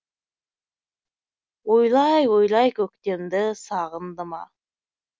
ойлай ойлай көктемді сағынды ма